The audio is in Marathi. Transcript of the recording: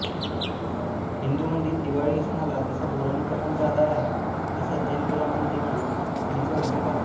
हिंदूंमधील दिवाळी सणाला जसा पौराणिक कथांचा आधार आहे तसाच जैन पुराणांतदेखील याचा उल्लेख आहे